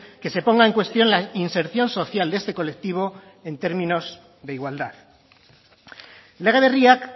que se ponga en cuestión la inserción social de este colectivo en términos de igualdad lege berriak